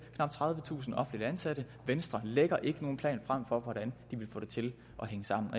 tredivetusind offentligt ansatte venstre lægger ikke nogen plan frem for hvordan de vil få det til at hænge sammen